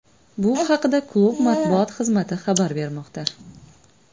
Bu haqida klub matbuot xizmati xabar bermoqda .